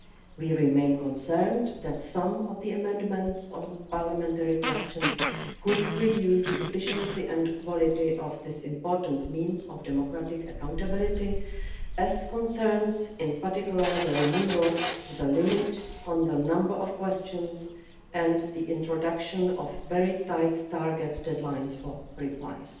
We remain concerned that some of the amendments on parliamentary questions could reduce the efficiency and quality of this important means of democratic accountability, in particular with regard to the removal of the limit on the number of questions and the introduction of very tight target deadlines for replies.